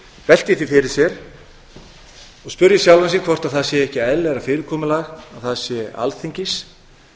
velti því fyrir sér og spyrji sjálfa sig hvort það sé ekki eðlilegra fyrirkomulag að það sé alþingis